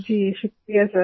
जी शुक्रिया सर